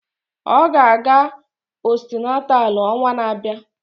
Ọ ga-aga postunátál ọnwa na-abịa